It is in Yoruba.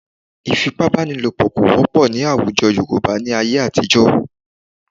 Ì̀fipábánilòpọ̀ kò wọ́pọ̀ ní àwùjọ Yorùbá ní ayé àtijọ́